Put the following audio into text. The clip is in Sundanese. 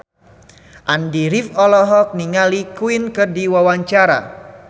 Andy rif olohok ningali Queen keur diwawancara